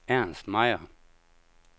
Ernst Meyer